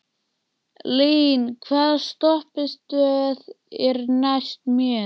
Lín, hvaða stoppistöð er næst mér?